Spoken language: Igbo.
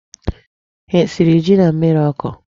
Há esiri ji na mmịrị ọkụ?